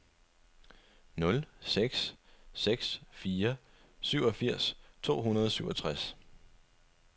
nul seks seks fire syvogfirs to hundrede og syvogtres